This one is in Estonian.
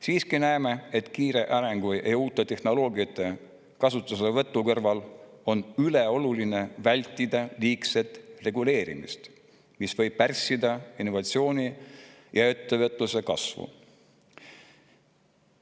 Siiski näeme, et kiire arengu ja uute tehnoloogiate kasutuselevõtu puhul on ülioluline vältida liigset reguleerimist, mis võib pärssida innovatsiooni ja ettevõtluse kasvu.